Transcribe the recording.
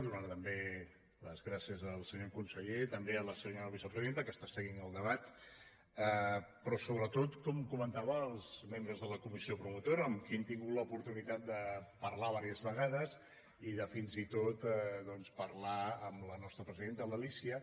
donar també les gràcies al senyor conseller i també a la senyora vicepresidenta que està seguint el debat però sobretot com comentava als membres de la comissió promotora amb qui hem tingut l’opor·tunitat de parlar diverses vegades i de fins i tot doncs parlar amb la nostra presidenta l’alícia